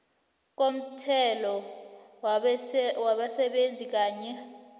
komthelo wabasebenzi kanye